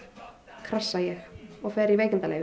krassa ég og fer í veikindaleyfi